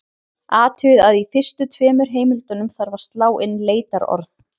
Athugið að í fyrstu tveimur heimildunum þarf að slá inn leitarorð.